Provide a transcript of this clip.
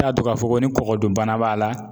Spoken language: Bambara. N'i ya dɔn k'a fɔ ko ni kɔgɔ dun bana b'a la